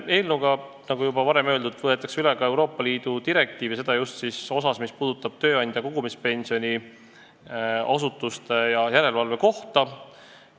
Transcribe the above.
Eelnõuga, nagu juba öeldud, võetakse üle ka Euroopa Liidu direktiiv, just tööandja kogumispensioni asutuste tegevust ja järelevalvet puudutavas osas.